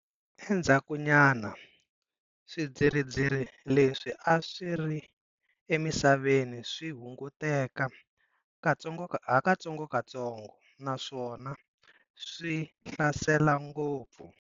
Endzhakunyana, swidzidzirisi leswi a swi ri emisaveni swi hunguteke hakatsongotsongo naswona swi hlasele ngopfu.